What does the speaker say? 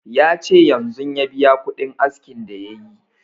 Ya ce yanzun ya biya kuɗin askin da yayi